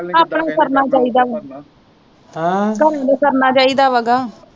ਆਪਣਾ ਹੀ ਕਰਨਾ ਚਾਹੀਦਾ ਕਰਨਾ ਚਾਹੀਦਾ ਮੈਂ ਕਿਹਾ।